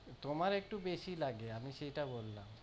তোমার একটু বেশিই লাগে, আমি সেইটা বললাম।